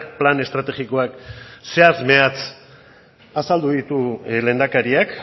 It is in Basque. plan estrategikoak zehatz mehatz azaldu ditu lehendakariak